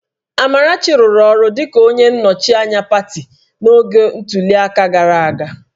Amarachi rụrụ ọrụ dịka onye nnọchi anya pati n'oge ntuli aka gara aga